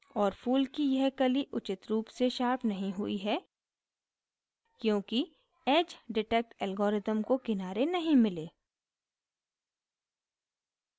और फूल की यह कली उचित रूप से sharp नहीं हुई है क्योंकि edge detect algorithm को किनारे नहीं मिले